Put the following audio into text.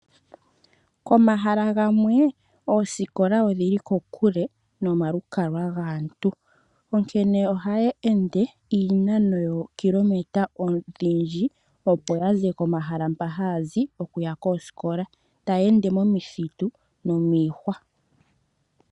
Komahala gamwe oosikola odhili kokule nomalukalwa gwaantu, onkene ohaye ende iinano yookilometa odhindji. Opo ya ze pomahala mpoka haya zi okuya koosikola, taya ende momithitu nomiihwa.